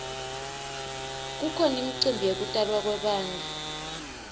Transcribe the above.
kukhona imicimbi yekutalwa kwebantfu